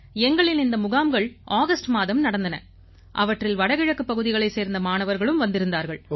எங்களின் இந்த முகாம்கள் ஆகஸ்ட் மாதம் நடந்தன அவற்றில் வடகிழக்குப் பகுதிகளைச் சேர்ந்த மாணவர்களும் வந்திருந்தார்கள்